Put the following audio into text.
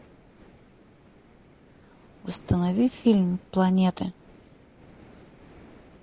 установи фильм планеты